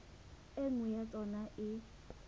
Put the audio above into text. e nngwe ya tsona e